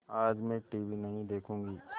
आज मैं टीवी नहीं देखूँगी